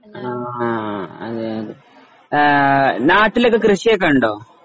ആഹ് അതെ ഏഹ് നാട്ടിലൊക്കെ കൃഷി ഒക്കെ ഉണ്ടോ?